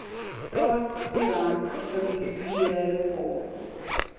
staatskoerant gepubliseer word